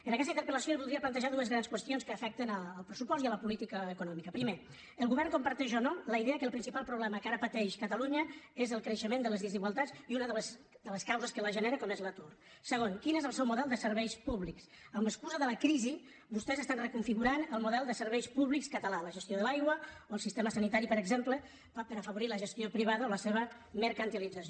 en aquesta interpel·lació li voldria plantejar dues grans qüestions que afecten el pressupost i la política econòmica primer el govern comparteix o no la idea que el principal problema que ara pateix catalunya és el creixement de les desigualtats i una de les causes que les genera com és l’atur segon quin és el seu model de serveis públics amb l’excusa de la crisi vostès estan reconfigurant el model de serveis públics català la gestió de l’aigua o el sistema sanitari per exemple per afavorir la gestió privada o la seva mercantilització